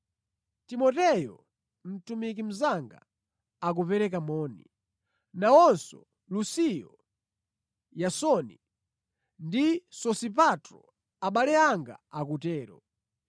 Timoteyo, mtumiki mnzanga, akupereka moni. Nawonso, Lusio, Yasoni ndi Sosipatro, abale anga akutero.